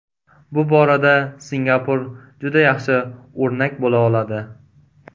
Bu borada Singapur juda yaxshi o‘rnak bo‘la oladi.